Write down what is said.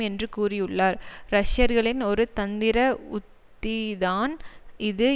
என்று கூறியுள்ளார் ரஷ்யர்களின் ஒரு தந்திர உத்திதான் இது